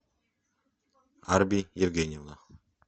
арби евгеньевна